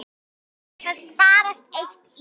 Það sparast eitt í.